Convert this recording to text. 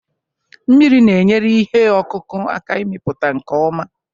Mmiri na-enyere ihe ọkụkụ aka ịmịpụta nke ọma